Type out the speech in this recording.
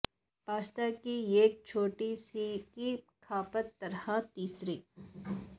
pasta کی ایک چھوٹی سی کی کھپت طرح تیسری